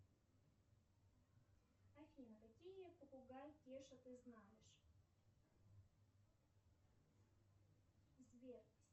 афина какие попугай кеша ты знаешь сбер